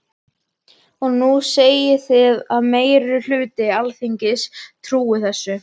Og nú segið þið að meiri hluti Alþingis trúi þessu.